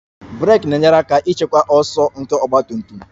Brek na-enyere aka ịchịkwa ọsọ nke ọgba tum tum